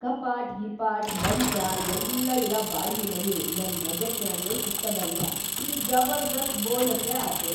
ಕಪಾಟ್‌ ಗಿಪಾಟ್‌, ಮಂಚಾ ಎಲ್ಲಾ ಇರ ಬಾಡ್ಗಿ ಮನಿ ನನ್‌ ಬಜೆಟ್ನ್ಯಾಗೇ ಸಿಕ್ಕದಂದ್ರ ಇದ್‌ ಜಬರ್ದಸ್ತ್ ಬೋನಸ್ಸೇ ಆತು.